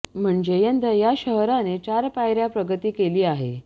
म्हणजे यंदा या शहराने चार पायऱया प्रगती केली आहे